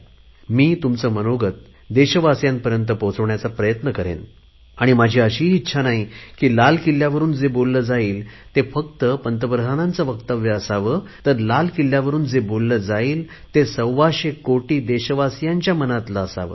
मी तुमचे मनोगत देशवासीयांपर्यंत पोहोचवण्याचा प्रयत्न करेन आणि माझी अशी ही इच्छा नाही की लाल किल्ल्यावरुन जे बोलले जाईल ते फक्त पंतप्रधानांचे असावे तर लाल किल्ल्यावरुन जे बोलले जाईल ते सव्वाशे कोटी देशवासीयांच्या मनातले असेल